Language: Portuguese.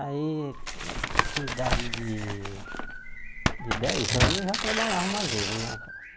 Aí, com idade de de dez anos, eu já trabalhava mais ele na